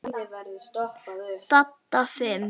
Dadda fimm.